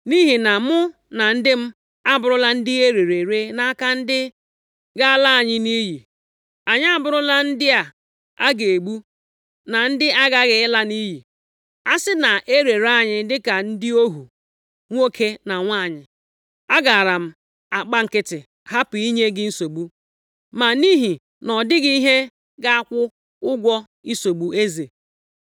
Nʼihi na mụ na ndị m abụrụla ndị erere ere nʼaka ndị ga-ala anyị nʼiyi. Anyị abụrụla ndị a ga-egbu, na ndị aghaghị ịla nʼiyi. A sị na e rere anyị dịka ndị ohu nwoke na nwanyị, agaara m agba nkịtị, hapụ inye gị nsogbu, ma nʼihi nʼọdịghị ihe ga-akwụ ụgwọ isogbu eze.”